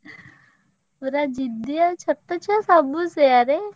ପୁରା ଜିଦିଆ ଛୋଟ ଛୁଆ ସବୁ ସେୟା ରେ।